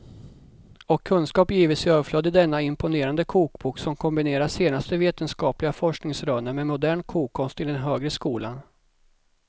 Och kunskap gives i överflöd i denna imponerande kokbok som kombinerar senaste vetenskapliga forskningsrönen med modern kokkonst i den högre skolan.